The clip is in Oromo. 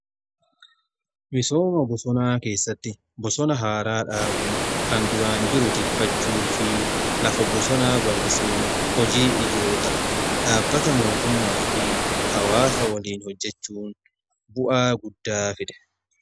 Misooma bosonaa keessatti bosona haaraa dhaabuu, kan duraan jiru tikfachuu fi lafa bosonaa bal'isuun hojii ijoodha. dhaabbata mootummaa fi hawaasaa waliin hojjechuun bu'aa guddaa fida.